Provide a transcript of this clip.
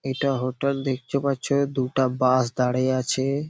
এটা হোটেল দেখতে পাচ্ছ দুটা বাস দাঁড়িয়ে আছে-এ।